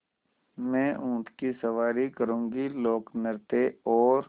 मैं ऊँट की सवारी करूँगी लोकनृत्य और